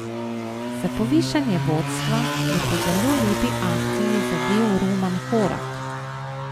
Za povišanje vodstva je po zelo lepi akciji zadel Roman Horak.